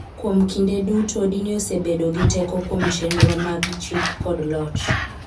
Kuom kinde duto, dini osebedo gi teko kuom chenro mag chik kod loch.